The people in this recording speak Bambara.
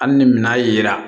Hali ni minan yera